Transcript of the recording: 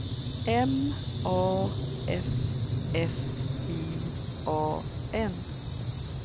M A F F I A N